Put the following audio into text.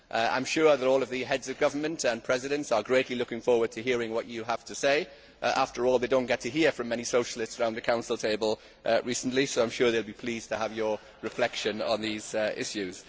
I am sure that all the Heads of Government and Presidents are greatly looking forward to hearing what you have to say after all they have not heard from many Socialists round the Council table recently, so I am sure they will be pleased to have your reflection on these issues.